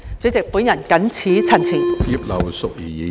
主席，我謹此陳辭。